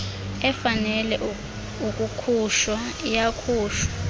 efanele ukukhutshwa iyakhutshwa